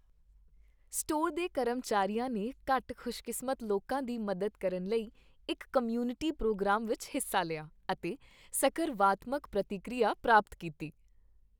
Store ਦੇ ਕਰਮਚਾਰੀਆਂ ਨੇ ਘੱਟ ਖੁਸ਼ਕਿਸਮਤ ਲੋਕਾਂ ਦੀ ਮਦਦ ਕਰਨ ਲਈ ਇੱਕ ਕਮਿਊਨਿਟੀ ਪ੍ਰੋਗਰਾਮ ਵਿੱਚ ਹਿੱਸਾ ਲਿਆ ਅਤੇ ਸਕਰਵਾਤਮਕ ਪ੍ਰਤੀਕੀਰਿਆ ਪ੍ਰਾਪਤ ਕੀਤੀ।